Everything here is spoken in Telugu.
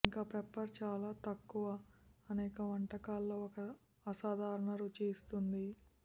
ఇంకా పెప్పర్ చాలా తక్కువ అనేక వంటకాల్లో ఒక అసాధారణ రుచి ఇస్తుంది